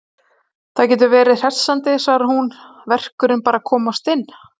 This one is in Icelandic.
Það getur verið hressandi, svarar hún, verkurinn bara að komast inn.